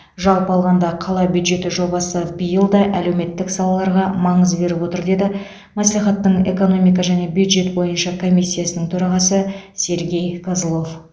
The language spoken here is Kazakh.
жалпы алғанда қала бюджеті жобасы биыл да әлеуметтік салаларға маңыз беріп отыр деді мәслихаттың экономика және бюджет бойынша комиссиясының төрағасы сергей козлов